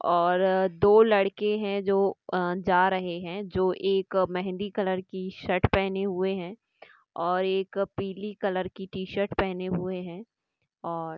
और दो लड़के है जो अह जा रहे है जो एक मेहंदी कलर की शर्ट पहने हुए है और एक पीली कलर की टीशर्ट पहने हुए है और--